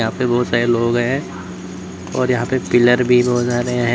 ये बहुत सारे लोग हैं और यहां पर पीलर भी बहोत सारे हैं।